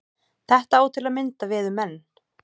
Þetta á til að mynda við um menn.